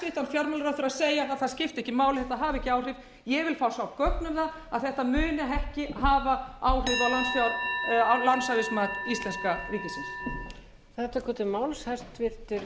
fjármálaráðherra segja að það skipti ekki máli þetta hafi ekki áhrif ég vil fá að sjá gögn um það að þetta muni ekki hafa áhrif á lánshæfismat íslenska ríkisins